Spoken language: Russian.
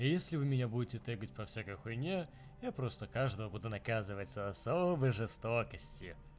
а если вы меня будете тэгать по всякой хуйне я просто каждого буду наказывать с особой жестокостью